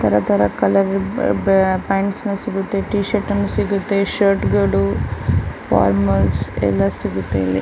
ತರತರ ಕಲರಿದ್ದು ಪಾಂಟ್ಸ್ ನು ಸಿಗುತ್ತೆ ಟೀ ಶರ್ಟ್ ನೂ ಸಿಗುತ್ತೆ ಶರ್ಟ್ ಗಳು ಫಾರ್ಮಲ್ಸ್ ಎಲ್ಲ ಸಿಗುತ್ತೆ ಇಲ್ಲಿ.